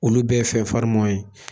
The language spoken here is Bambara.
Olu bɛɛ ye fɛn farimanw ye.